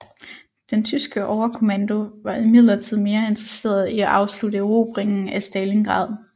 Den tyske overkommando var imidlertid mere interesseret i at afslutte erobringen af Stalingrad